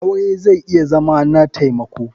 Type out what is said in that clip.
Aure zai iya Zama na taimako.